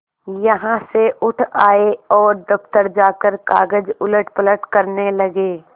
यहाँ से उठ आये और दफ्तर जाकर कागज उलटपलट करने लगे